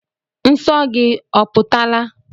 Nsọ gị oputala?